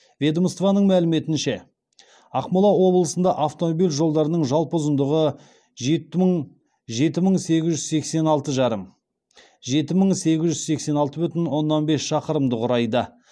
ведомстваның мәліметінше ақмола облысында автомобиль жолдарының жалпы ұзындығы жеті мың сегіз жүз сексен алты бүтін оннан бес шақырымды құрайды